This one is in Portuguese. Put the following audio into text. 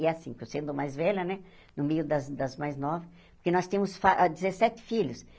E é assim, porque eu sendo mais velha né, no meio das das mais novas... Porque nós temos fa ah dezessete filhos.